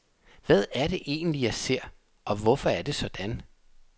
Hvad er det egentlig, jeg ser, og hvorfor er det sådan.